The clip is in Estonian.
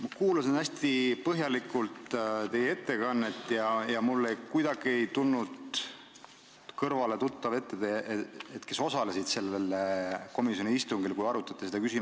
Ma kuulasin hästi põhjalikult teie ettekannet, kuid mulle ei tulnud kuidagi kõrvale tuttav ette jutt, kes osalesid sellel komisjoni istungil, kus seda küsimust arutati.